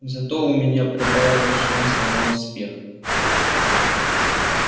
зато у меня прибавилось шансов на успех